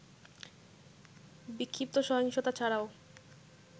বিক্ষিপ্ত সহিংসতা ছাড়াও